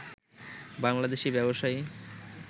বাংলাদেশী ব্যবসায়ী